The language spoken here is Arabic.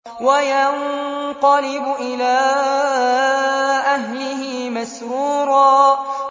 وَيَنقَلِبُ إِلَىٰ أَهْلِهِ مَسْرُورًا